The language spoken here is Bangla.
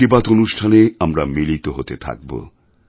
মন কি বাত অনুষ্ঠানে আমরা মিলিত হতে থাকব